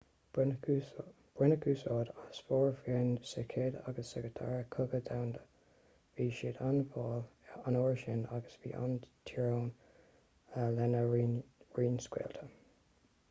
baineadh úsáid as formhuireáin sa chéad agus sa dara cogadh domhanda bhí siad an-mhall an uair sin agus bhí an-teorainn lena raon scaoilte